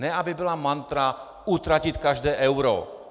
Ne aby byla mantra: utratit každé euro.